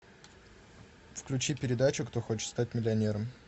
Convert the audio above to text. включи передачу кто хочет стать миллионером